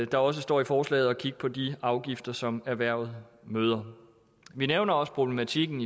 der også står i forslaget at kigge på de afgifter som erhvervet møder vi nævner også problematikken